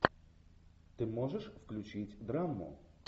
ты можешь включить драму